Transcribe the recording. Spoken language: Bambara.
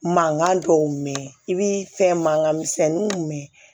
Mankan dɔw mɛn i bɛ fɛn mankan misɛnninw mɛn